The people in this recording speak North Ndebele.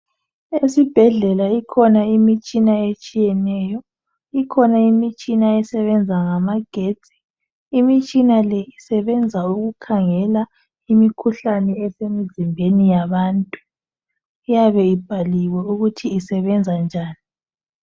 Esibhedlela ikhona imitshina etshiyeneyo, ikhona imitshina esebenza ngamagetsi, imitshina le isebenza ukukhangela imikhuhlane esemzimbeni yabantu, iyabe ibhaliwe ukuthi isebenza njani.